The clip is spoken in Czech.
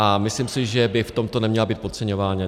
A myslím si, že by v tomto neměla být podceňována.